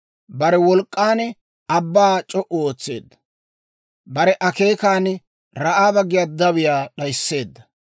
Bare wolk'k'an abbaa c'o"u ootseedda; bare akeekan Ra'aaba giyaa dawiyaa d'ayisseedda.